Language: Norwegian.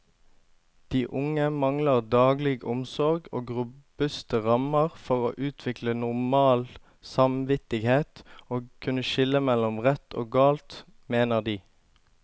De unge mangler daglig omsorg og robuste rammer for å utvikle normal samvittighet og kunne skille mellom rett og galt, mener de.